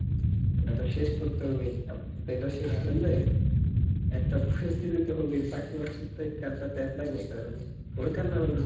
ইটা তো শেষ করতে হবে, তারপর ইটা শেষ করলে , একটা পরিস্তিথি তো হবে পাসে পাসে ই তো এই card টা apply করতে পারবো হোক আর না হোক